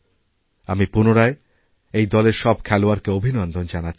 আমি পুনরায় এই দলের সব খেলোয়াড়কে অভিনন্দনজানাচ্ছি